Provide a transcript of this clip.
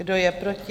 Kdo je proti?